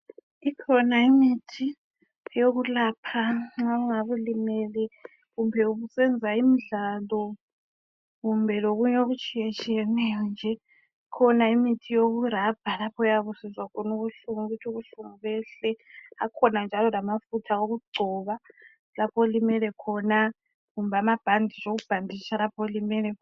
Ikhona imithi yokulapha nxa ungabe ulimele kumbe ubusenza imidlalo kumbe lokunye okutshiyetshiyeneyo nje. Ikhona imithi yokurabha lapho oyabe usizwa khona ubuhlungu ukuthi ubuhlungu behle. Akhona njalo lamafutha okugcoba lapho olimele khona kumbe amabhanditshi okubhanditsha lapho olimele khona.